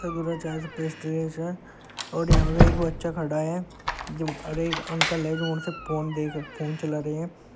दूध औऱ चाय पेस्ट्रीज हैं औऱ यहाँ पे एक बच्चा खड़ा है जो औऱ एक अंकल हैं जो उनसे फोन देख फोन चला रहे हैं।